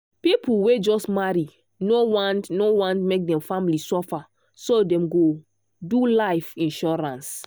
people wey just marry no want no want make dem family suffer so dem go do life insurance.